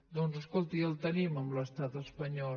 doncs escolti el tenim amb l’estat espanyol